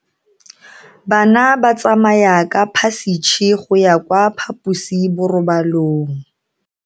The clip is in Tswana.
Bana ba tsamaya ka phašitshe go ya kwa phaposiborobalong.